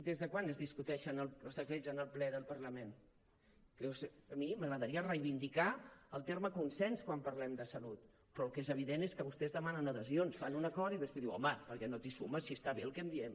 des de quan es discuteixen els decrets en el ple del parlament a mi m’agradaria reivindicar el terme consens quan parlem de salut però el que és evident és que vostès demanen adhesions fan un acord i després diuen home per què no t’hi sumes si està bé el que diem